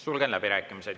Sulgen läbirääkimised.